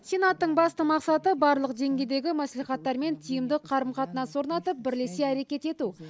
сенаттың басты мақсаты барлық деңгейдегі мәслихаттармен тиімді қарым қатынас орнатып бірлесе әрекет ету